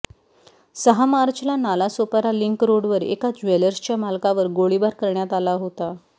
सहा मार्चला नालासोपरा लिंक रोडवर एका ज्वेलर्सच्या मालकावर गोळीबार करण्यात आला होता